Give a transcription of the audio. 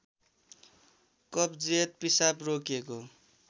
कब्जियत पिसाब रोकिएको